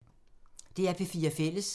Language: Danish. DR P4 Fælles